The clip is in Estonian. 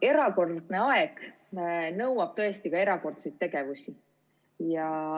Erakordne aeg nõuab ka erakordseid tegevusi.